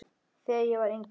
Þegar ég var yngri.